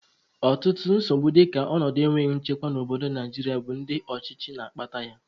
Ọtụtụ nsogbu dịka ọnọdụ enweghị nchekwa n'obodo Naijiria bụ ndị ọchịchị na-akpata yam